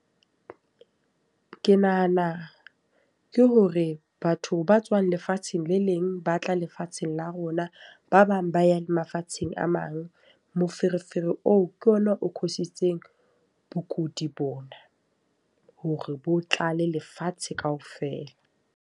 Ke nahana ke hore batho ba tswang lefatsheng le leng ba tla lefatsheng la rona. Ba bang ba ya mafatsheng a mang. Moferefere oo ke ona o cause-sitseng bokudi bona. Hore bo tlale lefatshe ka ofela.